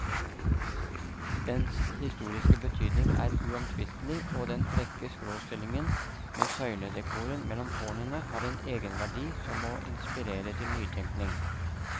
Dens historiske betydning er uomtvistelig, og den frekke skråstillingen med søyledekoren mellom tårnene har en egenverdi som må inspirere til nytenkning.